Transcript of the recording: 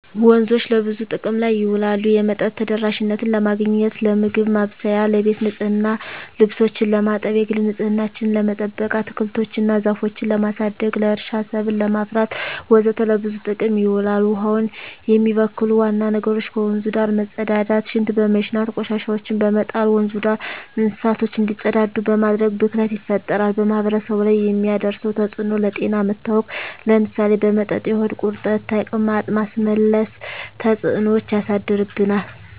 ወንዞች ለብዙ ጥቅም ላይ ይውላሉ የመጠጥ ተደራሽነትን ለማግኘት, ለምግብ ማብሰያ , ለቤት ንፅህና , ልብሶችን ለማጠብ, የግል ንፅህናችን ለመጠበቅ, አትክልቶች እና ዛፎችን ለማሳደግ, ለእርሻ ሰብል ለማፍራት ወዘተ ለብዙ ጥቅም ይውላል። ውሀውን የሚበክሉ ዋና ነገሮች ከወንዙ ዳር መፀዳዳት , ሽንት በመሽናት, ቆሻሻዎችን በመጣል, ወንዙ ዳር እንስሳቶች እንዲፀዳዱ በማድረግ ብክለት ይፈጠራል። በማህበረሰቡ ላይ የሚያደርሰው ተፅዕኖ ለጤና መታወክ ለምሳሌ በመጠጥ የሆድ ቁርጠት , ተቅማጥ, ማስመለስ ተፅዕኖች ያሳድርብናል።